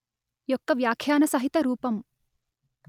యొక్క వ్యాఖ్యాన సహిత రూపం